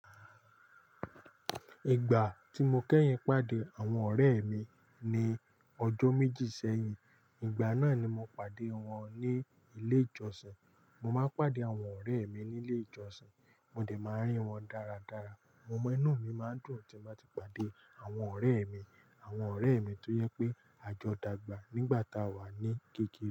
Ìgbà tí mo kẹ́yìn pàdé àwọn ọ̀rẹ́ mi ni ọjọ́ méjì sẹ́yìn, ìgbà náà ni mo pàdé wọn ní ilé ìjọsìn. Mo máa ń pàdé àwọn ọ̀rẹ́ mi ní ilé ìjọsìn, mo dẹ̀ máa rí wọn dáradára. Mo mọ inú mi máa dùn tí màá ti pàdé àwọn ọ̀rẹ́ mi, àwọn ọ̀rẹ́ mi tó yẹ pé àjọ̀dàgbà nígbà tá a wà ní kekẹ́